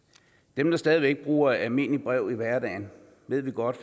dem der stadig bruger almindelige breve i hverdagen ved vi godt